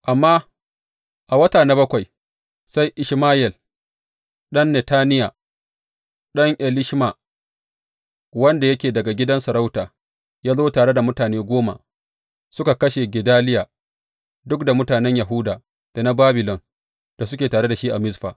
Amma a wata na bakwai, sai Ishmayel, ɗan Netaniya, ɗan Elishama, wanda yake daga gidan sarauta, ya zo tare da mutane goma, suka kashe Gedaliya duk da mutanen Yahuda, da na Babilon da suke tare da shi na Mizfa.